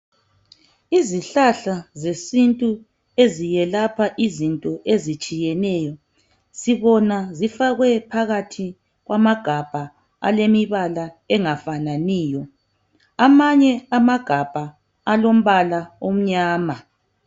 Izihlahla zesintu eziyelapha izinto ezitshiyeneyo sibona zifakwe phakathi kwamagabha alemibala engafananiyo amanye amagabha alombala omnyama